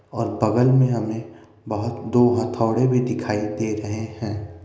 और बगल में हमें बहुत दो हथौड़े भी दिखाई दे रहे हैं ।